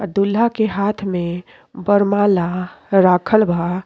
और दूल्हा के हाथ में वरमाला राखल बा।